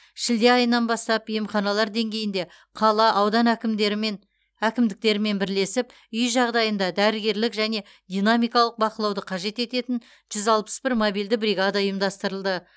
шілде айынан бастап емханалар деңгейінде қала аудан әкімдерімен әкімдіктерімен бірлесіп үй жағдайында дәрігерлік және динамикалық бақылауды қажет ететін жүз алпыс бір мобильді бригада ұйымдастырылды